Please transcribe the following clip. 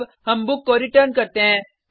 अब हम बुक को रिटर्न करते हैं